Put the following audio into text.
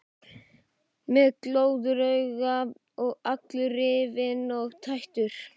Með glóðarauga og allur rifinn og tættur.